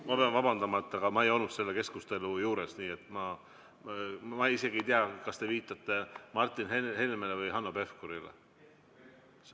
Ma pean vabandama, aga ma ei olnud selle keskustelu juures, nii et ma isegi ei tea, kas te viitate Martin Helmele või Hanno Pevkurile.